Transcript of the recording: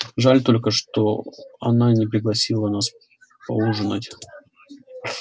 жаль только что она не пригласила нас поужинать